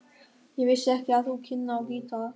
Ég vissi ekki að þú kynnir á gítar.